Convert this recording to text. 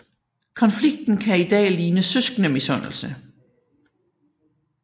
Konflikten kan i dag ligne søskendemisundelse